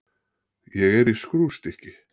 Ég er í skrúfstykki.